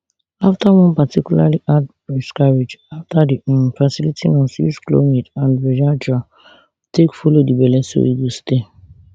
afta one particularly hard miscarriage afta di um fertility nurse use chlomid and viagra take follow di belle so e go stay